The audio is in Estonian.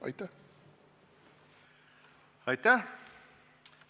Tänan!